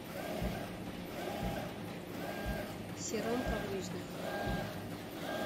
сером коврижных